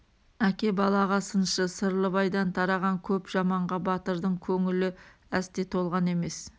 әке балаға сыншы сырлыбайдан тараған көп жаманға батырдың көңілі әсте толған емес